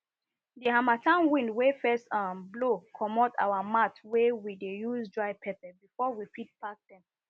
the harmattan wind wey first um blow commot our mat wey we dey use dry pepper before we fit pack them